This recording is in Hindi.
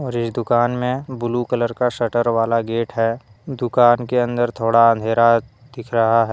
जिस दुकान में ब्लू कलर का शटर वाला गेट है। दुकान के अंदर में थोड़ा अंधेरा दिख रहा--